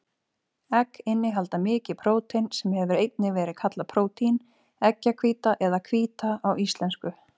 Egg innihalda mikið prótein, sem hefur einnig verið kallað prótín, eggjahvíta eða hvíta á íslensku.